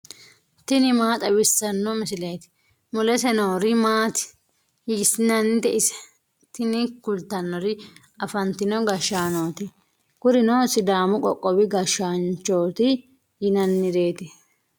tini maa xawissanno misileeti ? mulese noori maati ? hiissinannite ise ? tini kultannori afantino gashshaanooti. kurino sidaamu qoqqowi gashshaanchooti yinannireeti